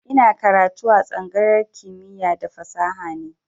Ina karatu a tsangayar kimiya da fasaha ne